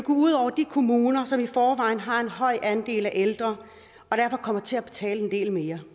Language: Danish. ud over de kommuner som i forvejen har en høj andel af ældre og derfor kommer til at betale en del mere